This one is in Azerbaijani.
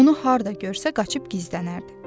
Onu harda görsə qaçıb gizlənərdi.